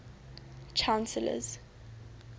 chancellors